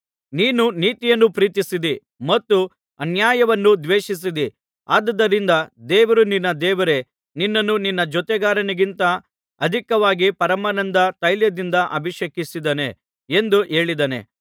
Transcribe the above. ನೀನು ನೀತಿಯನ್ನು ಪ್ರೀತಿಸಿದ್ದೀ ಮತ್ತು ಅನ್ಯಾಯವನ್ನು ದ್ವೇಷಿಸಿದ್ದೀ ಆದುದರಿಂದ ದೇವರು ನಿನ್ನ ದೇವರೇ ನಿನ್ನನ್ನು ನಿನ್ನ ಜೊತೆಗಾರರಿಗಿಂತ ಅಧಿಕವಾಗಿ ಪರಮಾನಂದ ತೈಲದಿಂದ ಅಭಿಷೇಕಿಸಿದ್ದಾನೆ ಎಂದು ಹೇಳಿದ್ದಾನೆ